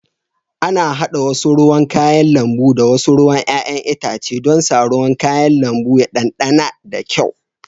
Ana hada wasu ruwan kayan lambu da wasu ruwan 'ya'yan itace don sa ruwan kayan lambu ya ɗanɗana da kyau